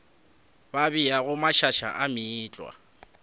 ba beago mašaša a meetlwa